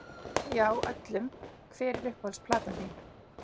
Já, öllum Hver er uppáhalds platan þín?